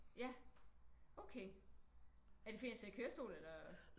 Ja okay er det fordi han sidder i kørestol eller?